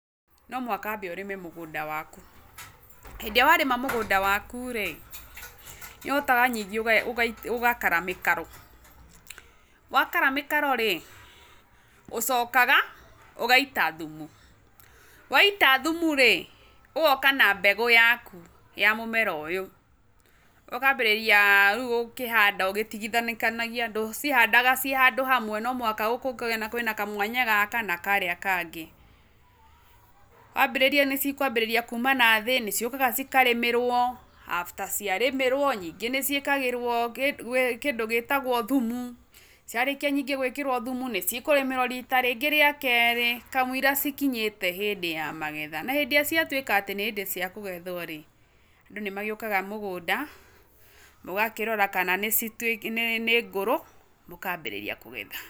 Nomũhaka wambe ũrĩme mũgũnda waku, hĩndĩ ĩrĩa warĩma mũgũnda waku rĩ, nĩũhotaga ningĩ ũgakara mĩkaro, wakara mĩkaro rĩ, ũcokaga ũgaita thumu, waita thumu rĩ, ũgoka na mbegũ yaku ya mũmera ũyũ, ũkambĩrĩria rĩu gũkĩhanda ũgĩtigithanĩkanagia, ndũcihandaga ciĩ handũ hamwe nomũhaka gũkũ gũkagĩa kwĩna kamwanya gaka na karĩa kangĩ, wambĩrĩria nĩcikwambĩrĩria kuma nathĩ, nĩciũkaga cikarĩmĩrwo after ciarĩmĩrwo, nyingĩ nĩciĩkagĩrwo kĩndũ gĩtagwo thumu, ciarĩkia ningĩ gwĩkĩra thumu, nĩcikũrĩmĩrwo rita rĩngĩ rĩa kerĩ kamwĩiria cikinyĩte hĩndĩ ya magetha, na hĩndĩ ĩrĩa ciatuĩka nĩhĩndĩ ya gũgethwo rĩ, andũ nĩmagĩũkaga mũgũnda ũgakirora kana nĩcituĩ nĩngũrũ ũkambĩrĩria kũgetha.